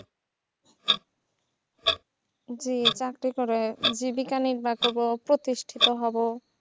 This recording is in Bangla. জি চাকরি করার জীবিকা নির্বা করবো প্রতিষ্ঠিত হবো।